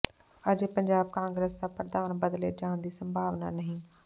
ਅਜੇ ਪੰਜਾਬ ਕਾਂਗਰਸ ਦਾ ਪ੍ਰਧਾਨ ਬਦਲੇ ਜਾਣ ਦੀ ਸੰਭਾਵਨਾ ਨਹੀਂ